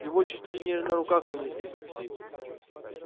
его чуть ли не на руках вынесли из такси